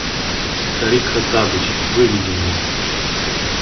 старик хоттабыч выведи мне